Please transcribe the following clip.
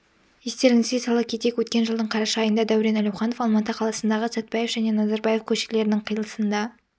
естеріңізге сала кетейік өткен жылдың қараша айында дәурен әлеуханов алматы қаласындағы сәтбаев және назарбаев көшелерінің қиылысында